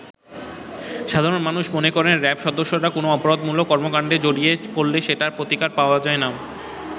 সাধারণ মানুষ মনে করেন র‍্যাব সদস্যরা কোন অপরাধমূলক কর্মকাণ্ডে জড়িয়ে পড়লে সেটির প্রতিকার পাওয়া যায়না।